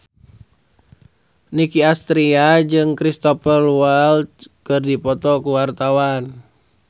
Nicky Astria jeung Cristhoper Waltz keur dipoto ku wartawan